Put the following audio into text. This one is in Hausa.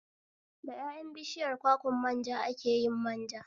Da ƴaƴan bishiyar kwakwan manja ake yin manja